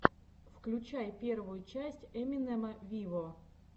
включай первую часть эминема виво